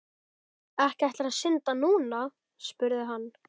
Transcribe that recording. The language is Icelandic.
Ekki ætlarðu að synda núna? spurði hann.